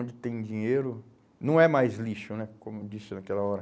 Onde tem dinheiro, não é mais lixo, né, como eu disse naquela hora.